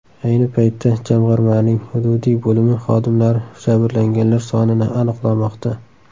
Ayni paytda jamg‘armaning hududiy bo‘limi xodimlari jabrlanganlar sonini aniqlamoqda.